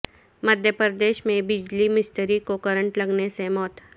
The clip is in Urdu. مدھیہ پردیش میں بجلی مستری کو کرنٹ لگنے سے موت